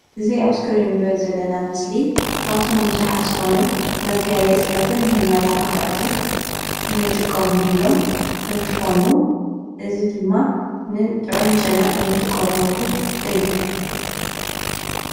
እዚ አብ እስክሪን እንሪኦ ዘለና ምስሊ ካብቶም ብዛሓትን ዝኾኑ መጋየፅታትን መመላክዓትን ንጥቀምሎም እንትክውን እዚ ድማ ንጥዑም ጨና ንጥቀመሉ እዩ፡፡